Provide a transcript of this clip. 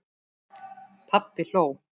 Pabbi hló.